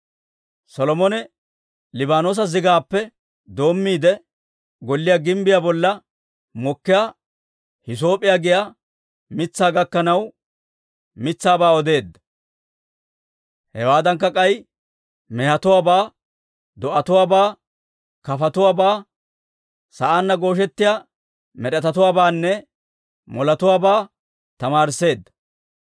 Solomone Liibaanoosa zigaappe doommiide, golliyaa gimbbiyaa bolla mokkiyaa hiisoop'p'iyaa giyaa mitsaa gakkanaw, mitsaabaa odeedda; hewaaddankka k'ay mehetuwaabaa, do'atuwaabaa, kafotuwaabaa, sa'aanna gooshettiyaa med'etatuwaabaanne moletuwaabaa tamaarisseedda.